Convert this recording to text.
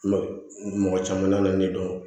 Mɔgɔ caman nana ne dɔn